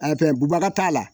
Fɛn bubaga t'a la